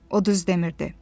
O düz demirdi.